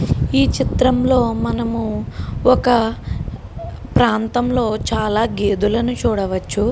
ఈ చిత్రం లో మనం ఒక ప్రాంతం లో చాలా గెడలను చూడవచ్చు.